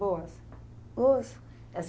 Boas. Boas.